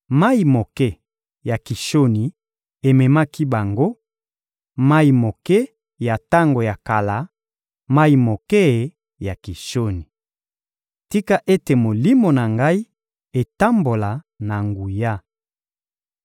Mayi moke ya Kishoni ememaki bango, mayi moke ya tango ya kala, mayi moke ya Kishoni. Tika ete molimo na ngai etambola na nguya!